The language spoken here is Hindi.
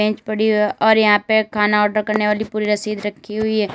और यहां पे खाना ऑर्डर करने वाली पूरी रसीद रखी हुई है।